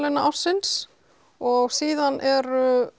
ársins og síðan er